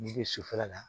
N'i bɛ sufɛla la